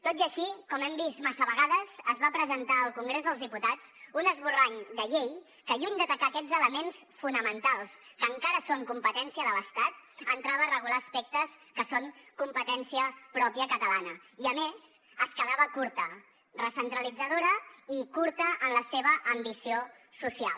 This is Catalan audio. tot i així com hem vist massa vegades es va presentar al congrés dels diputats un esborrany de llei que lluny d’atacar aquests elements fonamentals que encara són competència de l’estat entrava a regular aspectes que són competència pròpia catalana i a més es quedava curta recentralitzadora i curta en la seva ambició social